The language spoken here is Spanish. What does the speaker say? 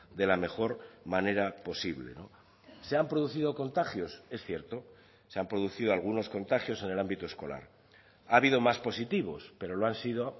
de la mejor manera posible se han producido contagios es cierto se han producido algunos contagios en el ámbito escolar ha habido más positivos pero lo han sido